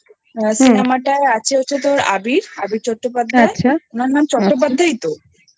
Cinemaটা আছে হচ্ছে তোর আবির আবির চট্টোপাধ্যায় আচ্ছা ওর নাম চট্টোপাধ্যায় ই তো?